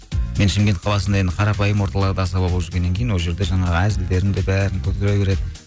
мен шымкент қаласында енді қарапайым орталарды асаба болып жүргеннін кейін ол жерде жаңағы әзілдерім де бәрін күлдіре береді